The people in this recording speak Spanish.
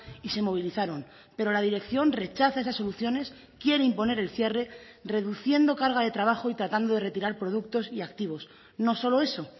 y se movilizaron pero la dirección rechaza esas soluciones quiere imponer el cierre reduciendo carga de trabajo y tratando de retirar productos y activos no solo eso